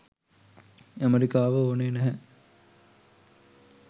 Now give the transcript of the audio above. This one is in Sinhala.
ඇමෙරිකාව ඕනේ නැහැ.